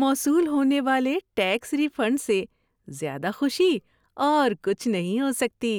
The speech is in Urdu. موصول ہونے والے ٹیکس ری فنڈ سے زیادہ خوشی اور کچھ نہیں ہو سکتی۔